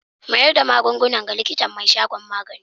Mayar da magungunan ga likitan mai shagon magani.